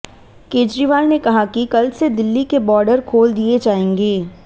केजरीवाल ने कहा कि कल से दिल्ली के बॉर्डर खोल दिए जाएंगे